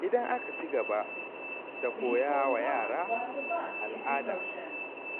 Idan aka ci gaba da koya wa yara al’ada,